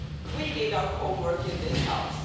We did our homework in this House.